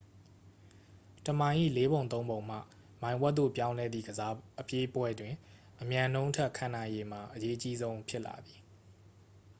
တစ်မိုင်၏ လေးပုံသုံးပုံမှ မိုင်ဝက်သို့ ပြောင်းလဲသည့် အပြေးပွဲတွင် အမြန်နှုန်းထက် ခံနိုင်ရည်မှာ အရေးအကြီးဆုံး ဖြစ်လာသည်